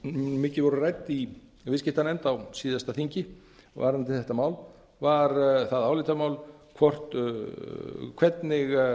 mikið voru rædd í viðskiptanefnd á síðasta þingi varðandi þetta mál var það álitamál hvernig